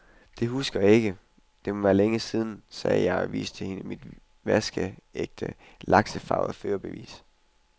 Det husker jeg ikke, det må være længe siden, sagde jeg og viste hende mit vaskeægte laksefarvede førerbevis.